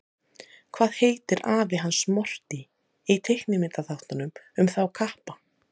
Hvað heitir afi hans Morty í teiknimyndaþáttunum um þá kappa?